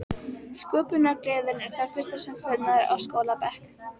Sköpunargleðin er það fyrsta sem fölnar á skólabekk.